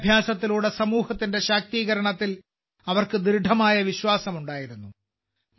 വിദ്യാഭ്യാസത്തിലൂടെ സമൂഹത്തിന്റെ ശാക്തീകരണത്തിൽ അവർക്ക് ദൃഢമായ വിശ്വാസമുണ്ടായിരുന്നു